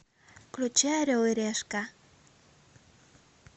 включи орел и решка